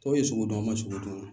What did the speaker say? Tɔw ye sugudon an ma sugudɔn